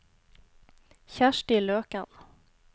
Kjersti Løken